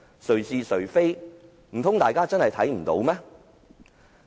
誰是誰非，難道大家真的看不到嗎？